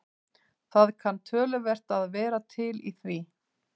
Það kann töluvert að vera til í því.